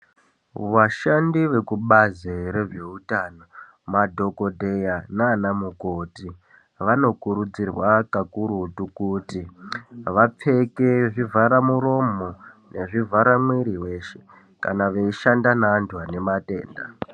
Vashandi vekubazi rezveutano madhogodheya nana mukoti. Vanokurudzirwa kakurutu kuti vapfeke zvivhara muromo nezvivhara mwiri veshe. Kana veishanda neantu ane matenda.